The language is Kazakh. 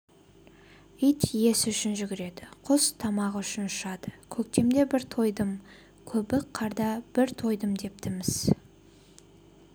ит иесі үшін жүгіреді құс тамағы үшін ұшады көктемде бір тойдым көбік қарда бір тойдым депті-міс